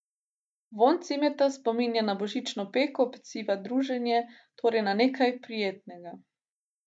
Vonj cimeta spominja na božično peko, peciva, druženje, torej na nekaj prijetnega.